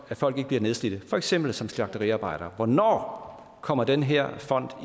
at folk ikke bliver nedslidte for eksempel som slagteriarbejdere hvornår kommer den her fond